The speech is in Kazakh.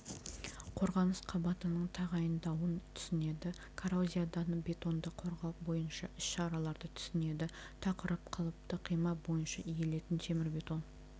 қорғаныс қабатының тағайындауын түсінеді коррозиядан бетонды қорғау бойынша іс-шараларды түсінеді тақырып қалыпты қима бойынша иілетін темірбетон